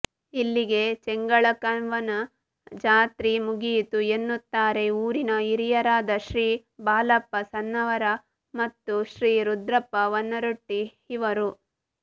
ಇಲ್ಲಿಗೆ ಚೆಂಗಳಕವ್ವನ ಜಾತ್ರಿ ಮುಗಿಯಿತು ಎನ್ನುತ್ತಾರೆ ಊರಿನ ಹಿರಿಯರಾದ ಶ್ರೀ ಬಾಲಪ್ಪ ಸನ್ನವರ ಮತ್ತು ಶ್ರೀ ರುದ್ರಪ್ಪ ವನರೊಟ್ಟಿ ಇವರು